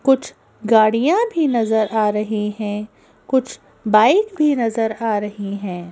कुछ गाड़ियां भी नजर आ रही हैं कुछ बाइक भी नजर आ रही हैं।